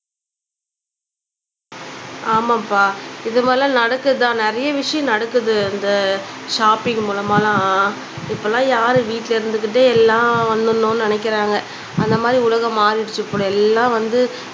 ஆமாம்பா இது மாதிலாம் நடக்குதுதான் நிறைய விஷயம் நடக்குது இந்த ஷாப்பிங் மூலமாலாம் இப்பலாம் யாரு வீட்டுல இருந்துக்கிட்டே எல்லாம் வந்துடணும்னு நினக்கிறாங்க அந்த மாதிரி உலகம் மாறிடுச்சு இப்படி எல்லாம் வந்து